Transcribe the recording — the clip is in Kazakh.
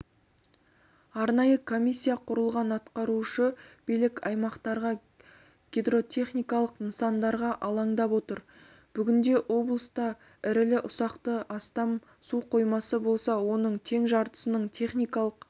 арнайы комиссия құрылған атқарушы билік аймақтағы гидротехникалық нысандарға алаңдап отыр бүгінде облыста ірілі-ұсақты астам су қоймасы болса оның тең жартысының техникалық